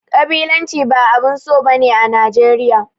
Ƙabilanci ba abun so ba ne a Najeriya.